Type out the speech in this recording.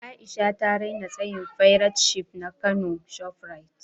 A’isha ta raina tsayin fairat shif na kano shoprite.